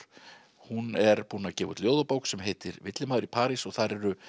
hún er búin að gefa út ljóðabók sem heitir villimaður í París og þar eru